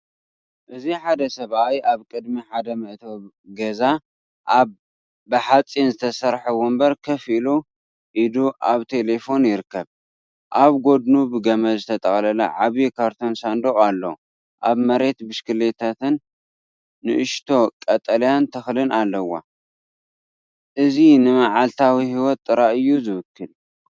እዚ ሓደ ሰብኣይ ኣብ ቅድሚ ሓደ መእተዊ ገዛ ኣብ ብሓጺን ዝተሰርሐ ወንበር ኮፍ ኢሉ ኢዱ ኣብ ቴለፎን ይርከብ። ኣብ ጎድኑ ብገመድ ዝተጠቕለለ ዓቢ ካርቶን ሳንዱቕ ኣሎ፤ ኣብ መሬት ብሽክለታንንእሽቶ ቀጠልያ ተኽልን ኣለዋ። እዚ ንመዓልታዊ ህይወት ጥራይ እዩ ዚውክል።